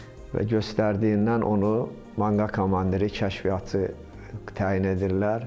Və göstərdiyindən onu manqa komandiri kəşfiyyatçı təyin edirlər.